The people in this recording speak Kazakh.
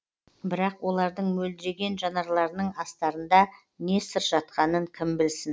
бірақ олардың мөлдіреген жанарларының астарында не сыр жатқанын кім білсін